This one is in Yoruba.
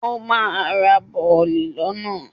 Ó ma ra bọ̀lì lọ́nà.